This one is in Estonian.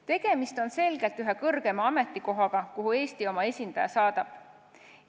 Tegemist on selgelt ühe kõrgema ametikohaga, kuhu Eesti oma esindaja saadab.